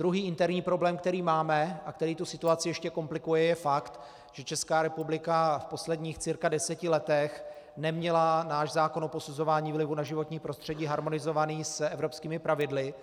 Druhý interní problém, který máme a který tu situaci ještě komplikuje, je fakt, že Česká republika v posledních cirka deseti letech neměla náš zákon o posuzování vlivu na životní prostředí harmonizovaný s evropskými pravidly